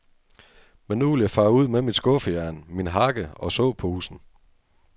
Men nu vil jeg fare ud med mit skuffejern, min hakke og såposen.